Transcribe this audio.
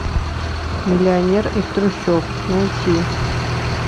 миллионер из трущоб найти